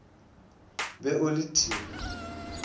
be o le t t